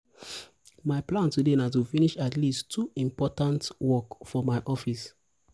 my plan today na to finish at least two important two important work for my office.